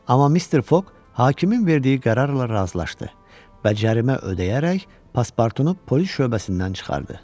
Amma Mister Foq hakimin verdiyi qərarla razılaşdı və cərimə ödəyərək Paspartunu polis şöbəsindən çıxartdı.